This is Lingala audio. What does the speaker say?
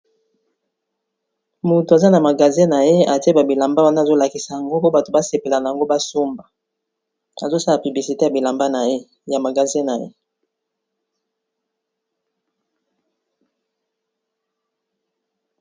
Moto aza na magasin na ye, atie ba bilamba wana azo lakisa yango po bato ba sepela nango ba somba azo sala publicité ya bilamba naye ya magasin na ye.